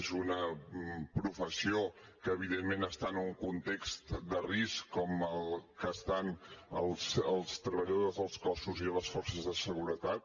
és una professió que evidentment està en un context de risc com el que estan els treballadors dels cossos i les forces de seguretat